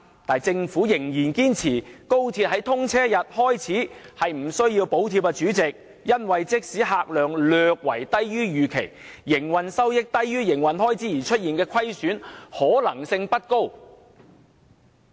不過，政府仍然堅持高鐵自通車日開始並不需要補貼，因為"即使將來乘客量略低於預期，營運收益低於營運開支而出現營運虧損的可能性不高"。